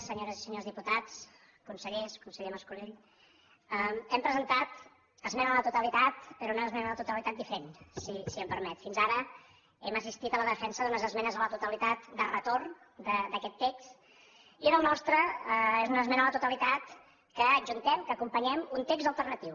senyores i senyors diputats consellers conseller mas colell hem presentat esmena a la totalitat però una esmena a la totalitat diferent si em permet fins ara hem assistit a la defensa d’unes esmenes a la totalitat de retorn d’aquest text i en el nostre és una esmena a la totalitat que adjuntem que acompanyem un text alternatiu